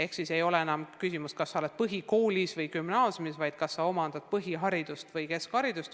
Küsimus ei ole selles, kas sa oled põhikoolis või gümnaasiumis, vaid selles, kas sa omandad põhiharidust või keskharidust.